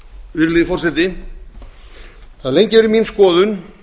virðulegi forseti það hefur lengi verið mín skoðun